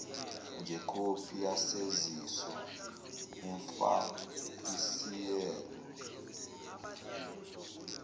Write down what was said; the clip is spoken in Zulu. ngekhophi yesaziso umfakisieelo